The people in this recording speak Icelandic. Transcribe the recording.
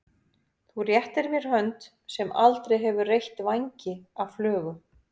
Þú réttir mér hönd sem aldrei hefur reytt vængi af flugu.